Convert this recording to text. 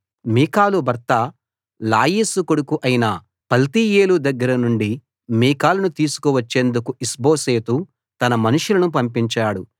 మీకాలు భర్త లాయీషు కొడుకు అయిన పల్తీయేలు దగ్గర నుండి మీకాలును తీసుకు వచ్చేందుకు ఇష్బోషెతు తన మనుషులను పంపించాడు